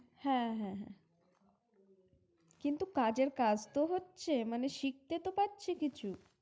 হ্যাঁ! হ্যাঁ! হ্যাঁ! কিন্তু কাজের কাজ তো হচ্ছে, মানে শিখতে তো পারছে কিছু!